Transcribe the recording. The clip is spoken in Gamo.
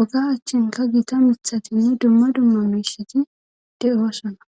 oga achchinka gita mithatinne dumma dumma miishiti de'sana.